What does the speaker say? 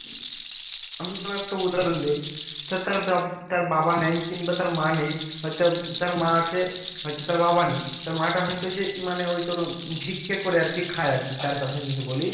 আমি তোকে একটা উদাহরণ দেই সে তার বাব তার বাবা নাই কিংবা তার মা নেই হয়তো তো তার মা আছে হয়তো তার বাবা নেই তার মা টা হয়তো যে মানে ওই তোর ভিক্ষে করে আরকি খায় আরকি তার কথা যদি বলি